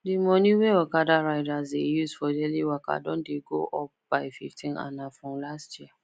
the money wey okada riders dey use for daily waka don go up by 15 and na from last year